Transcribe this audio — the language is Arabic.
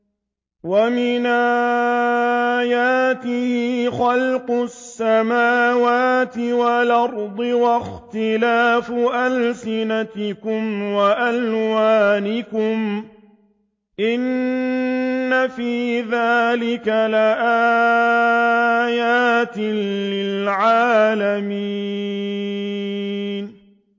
وَمِنْ آيَاتِهِ خَلْقُ السَّمَاوَاتِ وَالْأَرْضِ وَاخْتِلَافُ أَلْسِنَتِكُمْ وَأَلْوَانِكُمْ ۚ إِنَّ فِي ذَٰلِكَ لَآيَاتٍ لِّلْعَالِمِينَ